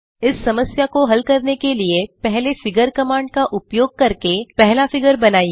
इस समस्या को हल करने के लिए पहले फिगर कमांड का उपयोग करके पहला फिगर बनाइए